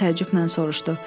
Orxan təəccüblə soruşdu.